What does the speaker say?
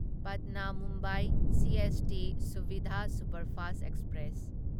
ꯄꯠꯅꯥ Mumbai CST ꯁꯨꯚꯤꯙꯥ superfast express